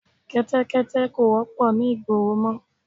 Kẹ́tẹ́kẹ́tẹ́ kò wọ́pọ̀ ni ìgboro mọ